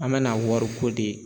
An mɛna wariko de